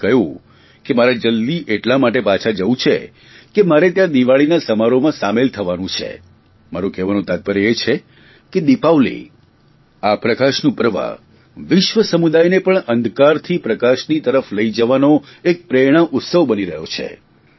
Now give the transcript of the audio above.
તેમણે મને કહ્યું કે મારે જલદી એટલા માટે પાછા જવું છે કે મારે ત્યાં દિવાળીના સમારોહમાં સામેલ થવાનું છે મારું કહેવાનું તાત્પર્ય એ છે કે દીપાવલી આ પ્રકાશનું પર્વ વિશ્વ સમુદાયને પણ અંધકારથી પ્રકાશની તરફ લઇ જવાનો એક પ્રેરણા ઉત્સવ બની રહ્યો છે